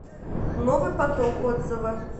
новый поток отзывы